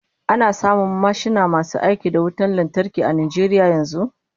Ana samun mashina masu aiki da wutan lantarki a Najeriya yanzu?